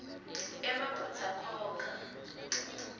emaphutsa khokha